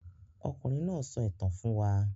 Ọkùnrin náà sọ ìtàn fún wa.